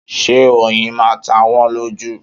Ṣé oyin máa ta wọ́n lójú?